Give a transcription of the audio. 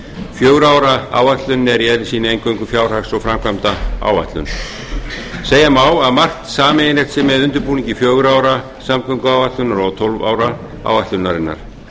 fjögurra ára áætlunin er í eðli sínu eingöngu fjárhags og framkvæmdaáætlun segja má að margt sameiginlegt sé með undirbúningi fjögurra ára samgönguáætlunar og tólf ára áætlunarinnar